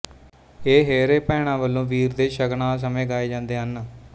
ਇਹ ਹੇਅਰੇ ਭੈਣਾਂ ਵੱਲੋਂ ਵੀਰ ਦੇ ਸ਼ਗਨਾਂ ਸਮੇਂ ਗਾਏ ਜਾਂਦੇ ਹਨ